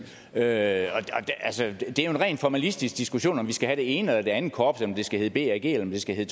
er jo en rent formalistisk diskussion om vi skal have det ene eller det andet korps og om det skal hedde bag eller det skal hedde